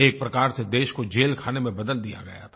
एक प्रकार से देश को जेलखाने में बदल दिया गया था